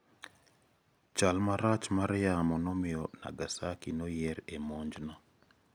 Chal marach mar yamo nomiyo Nagasaki noyier e monj no.